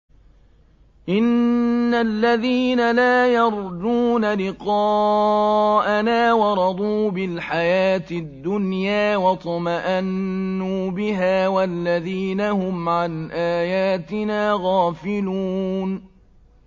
إِنَّ الَّذِينَ لَا يَرْجُونَ لِقَاءَنَا وَرَضُوا بِالْحَيَاةِ الدُّنْيَا وَاطْمَأَنُّوا بِهَا وَالَّذِينَ هُمْ عَنْ آيَاتِنَا غَافِلُونَ